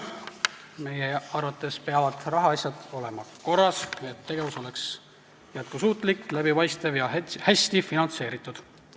Meie arvates peavad rahaasjad olema korras, et tegevus oleks jätkusuutlik, läbipaistev ja hästi finantseeritud.